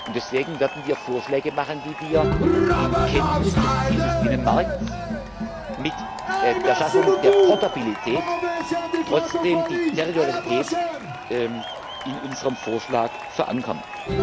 Deswegen werden wir Vorschläge machen, wie wir in Kenntnis des Ziels des Binnenmarkts mit der Schaffung der Portabilität trotzdem die Territorialität in unserem Vorschlag verankern.